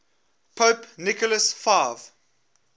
pope nicholas v